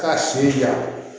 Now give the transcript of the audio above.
K'a siri ja